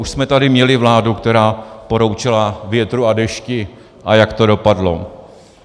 Už jsme tady měli vládu, která poroučela větru a dešti, a jak to dopadlo.